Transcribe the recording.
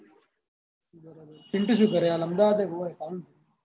પીન્ટુ શું કરે હાલ અમદાવાદ હે ?